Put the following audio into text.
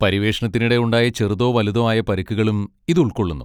പര്യവേഷണത്തിനിടെ ഉണ്ടായ ചെറുതോ വലുതോ ആയ പരിക്കുകളും ഇത് ഉൾക്കൊള്ളുന്നു.